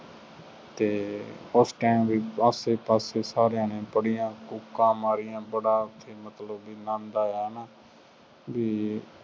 ਅਤੇ ਉਸ time ਵੀ ਆਸੇ ਪਾਸੇ ਸਾਰਿਆਂ ਨੇ ਬੜੀਆਂ ਕੂਕਾਂ ਮਾਰੀਆਂ, ਬੜਾ ਬਈ ਮਤਲਬ ਕਿ ਆਨੰਦ ਆਇਆ ਨਾ, ਬਈ